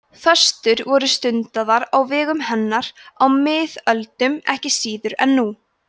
föstur voru stundaðar á vegum hennar á miðöldum ekki síður en nú